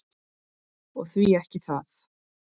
Og því ekki það?